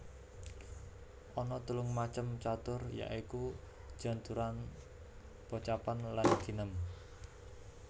Ana telung macem catur ya iku janturan pocapan lan ginem